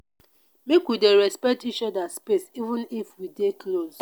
make we dey respect each oda space even if we dey close.